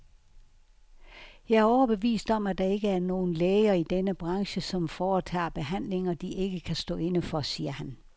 Jeg er overbevist om, at der ikke er nogen læger i denne branche, som foretager behandlinger, de ikke kan stå inde for, siger han.